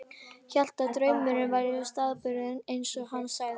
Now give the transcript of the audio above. Hélt að draumurinn væri staðbundinn, eins og hann sagði.